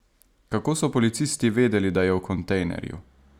Kako so policisti vedeli, da je v kontejnerju?